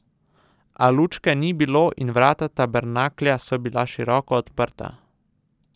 A lučke ni bilo in vrata tabernaklja so bila široko odprta.